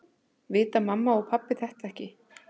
Vita mamma og pabbi þetta ekki?